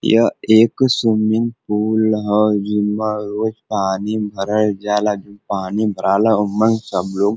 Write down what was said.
यह एक swimming pool ह जिमा रोज पानी भरल जाला जो पानी भराला ओमन सब लोग --